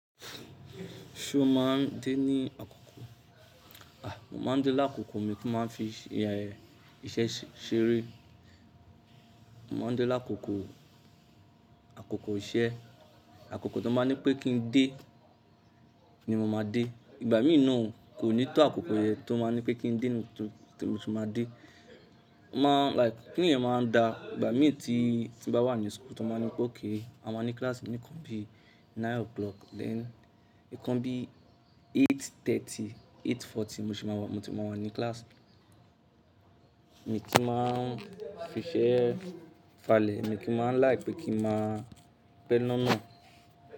Ṣo máa ń dé ní àkókò? Mo máa ń dé lákòókò, mi o ki máa ń fi iṣẹ́ ṣeré. Mo máa ń dé lákòókò, àkókò tó máa ń ní pé kí n dé ni mo máa dé. Ìgbà mìíràn, kò ní tó àkókò yẹn tó máa ń ní pé kí n dé ni mo tì máa dé. Mo maa n like, kini yen maa n daa. Igba mi ti n ba wa ni school to ba ni pe okay, a maa ni class ni nkan bi 9:00, nkan bi 8:30, 8:40 mo ti maa wa ni class. Mi kí máa ń fi iṣẹ́ falẹ̀, mi kí n máa like pé kí n máa pe loná.